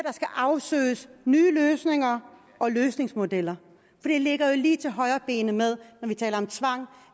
skal afsøges nye løsninger og løsningsmodeller det ligger lige til højrebenet når vi taler om tvang